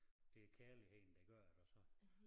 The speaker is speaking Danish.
Det kærligheden der gør det og så